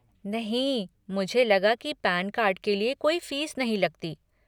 नहीं, मुझे लगा की पैन कार्ड के लिए कोई फ़ीस नहीं लगती।